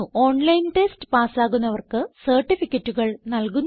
online test പാസ്സാകുന്നവർക്ക് സർട്ടിഫികറ്റുകൾ നല്കുന്നു